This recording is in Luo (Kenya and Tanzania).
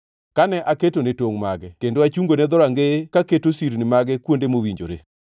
kane aketone tongʼ mage kendo achungone dhorangeye ka keto sirni mage kuonde mowinjore?